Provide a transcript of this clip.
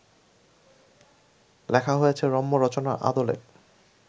লেখা হয়েছে রম্য রচনার আদলে